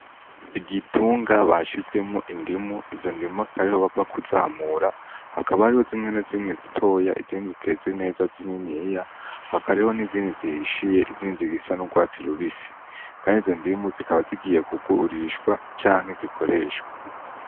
Igitungwa bashizemwo indimu, izo ndimu akaba ariho bakiva kuzamura ,hakaba harimwo zimwe na zimwe zitoya izindi ziteze neza zininiya hakaba hariho n'izindi zihishiye, izindi zifise n'urwatsi rubisi Kandi izo ndimu zikaba zigiye kugurishwa canke zikoreshwe.